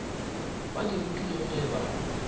ba di rutilwego ge ba